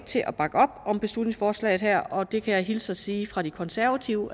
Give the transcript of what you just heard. til at bakke op om beslutningsforslaget her og det kan jeg hilse og sige fra de konservative